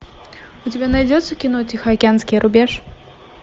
у тебя найдется кино тихоокеанский рубеж